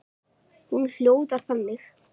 Hún hljóðar þannig